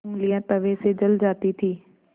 ऊँगलियाँ तवे से जल जाती थीं